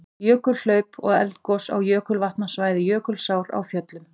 Jökulhlaup og eldgos á jökulvatnasvæði Jökulsár á Fjöllum.